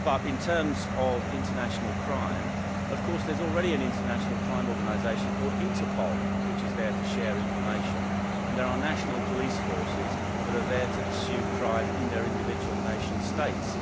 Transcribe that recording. In terms of international crime, there is already an international crime organisation called Interpol, which is there to share information, and there are national police forces that are there to pursue crime in their individual nation states.